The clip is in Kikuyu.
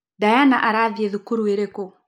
Diana arathiĩ thukuru ĩrĩkũ?